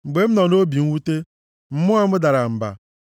Mgbe m nọ nʼobi mwute; mmụọ m dara mba.